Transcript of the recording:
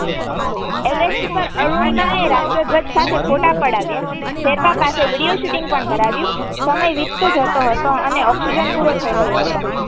Everest ઉપર અરૂણિમાએ રાષ્ટ્રધ્વજ સાથે ફોટા પડાવ્યા શેરપા પાસે વિડિઓ શૂટિંગ પણ કરાવ્યું સમય વીતતો જતો હતો અને ઓક્સિજન પૂરો થઇ રહ્યો હતો.